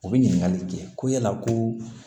U bɛ ɲininkali kɛ ko yala ko